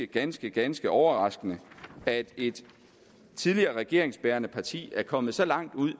ganske ganske overraskende at et tidligere regeringsbærende parti er kommet så langt ud